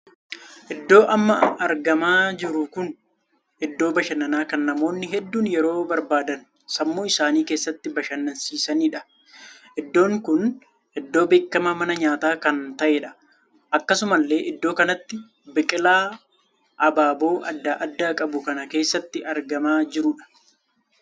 Iddoo amma argamaa jiru kun iddoo bashannaa kan namoonni hedduun yeroo barbaadan sammuu isaanii keessatti bashannansiisaniidha. iddoon kun iddoo beekamaa mana nyaataa kan taheedha. akkasumallee iddoo kanatti biqilaa abaaboo addaa addaa qabu kan keessatti argamaa jiruudha.